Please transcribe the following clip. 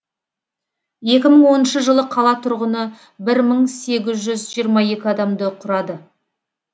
екі мың оныншы жылы қала тұрғыны бір мың сегіз жүз жиырма екі адамды құрады